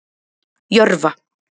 Jörfa